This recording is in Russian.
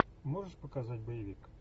можешь показать боевик